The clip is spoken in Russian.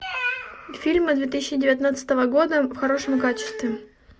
фильмы две тысячи девятнадцатого года в хорошем качестве